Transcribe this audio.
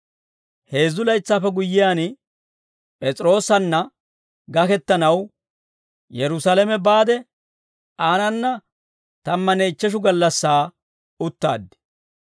Heezzu laytsaappe guyyiyaan, P'es'iroosanna gakettanaw Yerusaalame baade, aanana tammanne ichcheshu gallassaa uttaad.